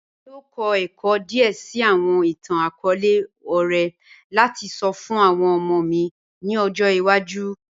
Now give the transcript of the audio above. ẹ̀mí yọọ̀ kọ̀ ẹ̀kọ́ díè síì awọn ìtàn-akọọlẹ̀ ọ̀rẹ̀ lati sọ̀ fun awọn ọmọ mi ni ọ̀jọ́ iwaju